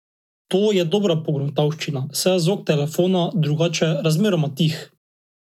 To je dobra pogruntavščina, saj je zvok telefona drugače razmeroma tih.